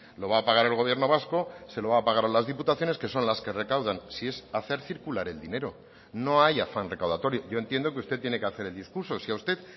lo va a pagar el gobierno vasco se lo va a pagar a las diputaciones que son las que recaudan si es hacer circular el dinero no hay afán recaudatorio yo entiendo que usted tiene que hacer el discurso si a usted